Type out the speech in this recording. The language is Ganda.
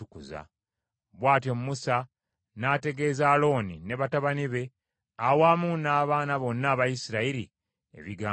Bw’atyo Musa n’ategeeza Alooni ne batabani be, awamu n’abaana bonna aba Isirayiri ebigambo ebyo byonna.